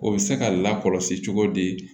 O bɛ se ka lakɔlɔsi cogo di